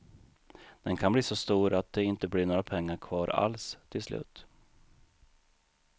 Den kan bli så stor att det inte blir några pengar kvar alls till slut.